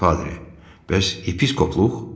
Padri, bəs episkopluq?